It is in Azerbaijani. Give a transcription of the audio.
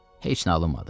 Heç nə alınmadı.